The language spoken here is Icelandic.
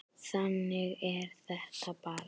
Þannig er þetta bara.